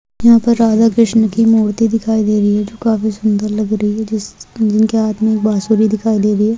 यहा पर राधा कृष्ण की मूर्ति दिखाई दे रही है जो काफी सुन्दर लग रही है जिनके हाथ मे बांसुरी दिखाई दे रही है।